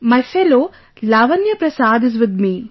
My fellow Lavanya Prasad is with me